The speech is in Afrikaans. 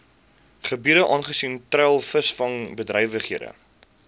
gebiede aangesien treilvisvangbedrywighede